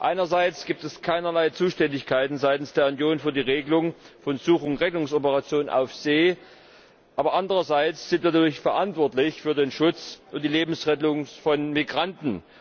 Einerseits gibt es keinerlei Zuständigkeiten seitens der Union für die Regelung von Such und Rettungsoperationen auf See, aber andererseits sind wir natürlich verantwortlich für den Schutz und die Lebensrettung von Migranten.